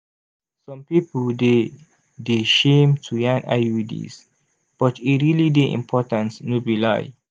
some pipo dey de shame to yan iuds but e realli dey important no be lai